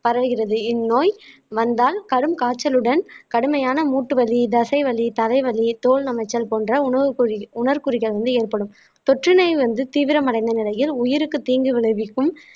பரவுகிறது இந்நோய் வந்தால் கடும் காய்ச்சலுடன் கடுமையான மூட்டு வலி தசை வலி தலை வலி தோல் நமைச்சல் போன்ற உணவு குறி உணர்குறிகள் வந்து ஏற்படும் தொற்றுநோய் வந்து தீவிரமடைந்த நிலையில் உயிருக்கு தீங்கு விளைவிக்கும்